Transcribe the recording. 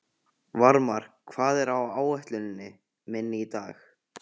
Varmar, hvað er á áætluninni minni í dag?